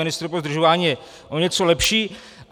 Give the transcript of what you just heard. Ministr pro zdržování je o něco lepší.